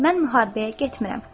Mən müharibəyə getmirəm.